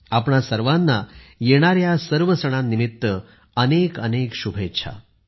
आपणा सर्वांना येणाऱ्या या सर्व सणांनिमित्त अनेकानेक शुभेच्छा